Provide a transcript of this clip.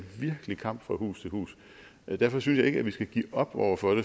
virkelig kamp fra hus til hus derfor synes jeg ikke vi skal give op over for